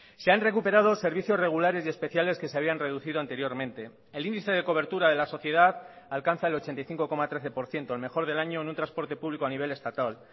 se han recuperado servicios regulares y especiales que se habían reducido anteriormente el índice de cobertura de la sociedad alcanza el ochenta y cinco coma trece por ciento el mejor del año en un transporte público a nivel estatal